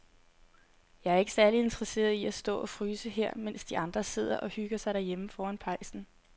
Jeg er ikke særlig interesseret i at stå og fryse her, mens de andre sidder og hygger sig derhjemme foran pejsen.